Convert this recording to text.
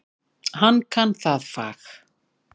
Hann kann það fag.